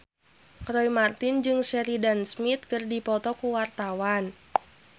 Roy Marten jeung Sheridan Smith keur dipoto ku wartawan